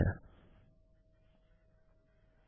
उदाहरणस्वरूप चलिए नये वेरिएबल को यहाँ सेट करते हैं